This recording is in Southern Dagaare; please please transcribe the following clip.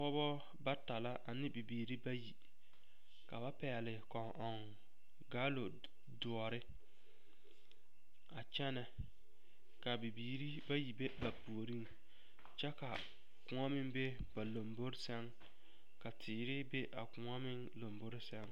Pɔgeba bata la ane bibiiri bayi ka ba pɛgle kɔŋ ɔŋ gaalori doɔre a kyɛnɛ k,a bibiiri bayi be ba pioriŋ kyɛ ka koɔ meŋ be ba lambori seŋ ka teere be a koɔ meŋ lambori seŋ.